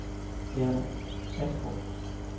Gerda Astrup